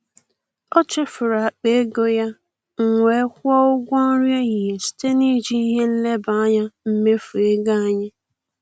Ọ chefuru akpa ego ya, m wee kwụọ ụgwọ nri ehihie site na iji ihe nleba anya mmefu ego anyị.